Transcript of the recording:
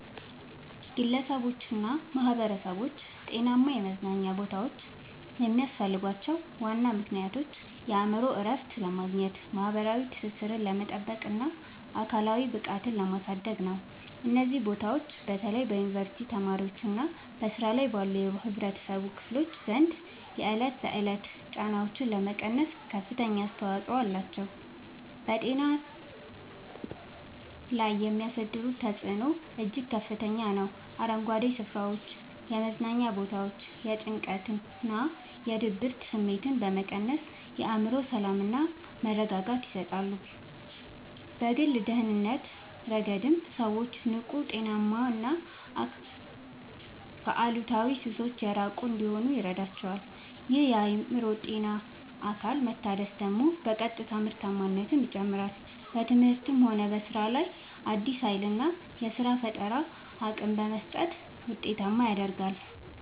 ግለሰቦችና ማኅበረሰቦች ጤናማ የመዝናኛ ቦታዎች የሚያስፈልጓቸው ዋና ምክንያቶች የአእምሮ እረፍት ለማግኘት፣ ማኅበራዊ ትስስርን ለማጥበቅና አካላዊ ብቃትን ለማሳደግ ነው። እነዚህ ቦታዎች በተለይ በዩኒቨርሲቲ ተማሪዎችና በሥራ ላይ ባሉ የኅብረተሰብ ክፍሎች ዘንድ የዕለት ተዕለት ጫናዎችን ለመቀነስ ከፍተኛ አስተዋጽኦ አላቸው። በአእምሮ ጤና ላይ የሚያሳድሩት ተጽዕኖ እጅግ ከፍተኛ ነው፤ አረንጓዴ ስፍራዎችና የመዝናኛ ቦታዎች የጭንቀትና የድብርት ስሜትን በመቀነስ የአእምሮ ሰላምና መረጋጋትን ይሰጣሉ። በግል ደህንነት ረገድም ሰዎች ንቁ: ጤናማና ከአሉታዊ ሱሶች የራቁ እንዲሆኑ ይረዳቸዋል። ይህ የአእምሮና አካል መታደስ ደግሞ በቀጥታ ምርታማነትን ይጨምራል: በትምህርትም ሆነ በሥራ ላይ አዲስ ኃይልና የፈጠራ አቅም በመስጠት ውጤታማነትን ያሳድጋል።